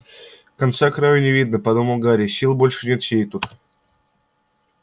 конца-краю не видно подумал гарри сил больше нет сидеть тут